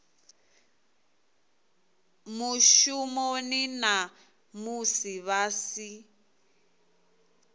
mushumoni na musi vha si